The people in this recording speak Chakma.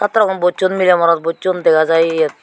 satro gun bochun mile morot bochun dega jiy iyet